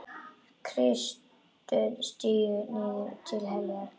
Kristur stígur niður til heljar.